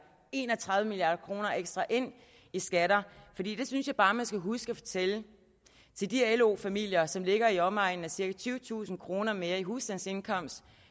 en og tredive milliard kroner ekstra ind i skatter for det synes jeg bare man skal huske at fortælle de lo familier som ligger i omegnen af cirka tyvetusind kroner mere i husstandsindkomst